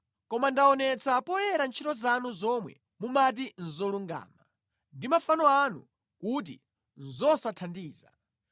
Koma ndaonetsa poyera ntchito zanu zomwe mumati nʼzolungama, ndi mafano anu kuti nʼzosathandiza.